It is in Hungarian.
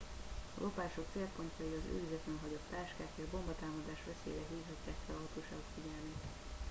a lopások célpontjai az őrizetlenül hagyott táskák és bombatámadás veszélyére hívhatják fel hatóságok figyelmét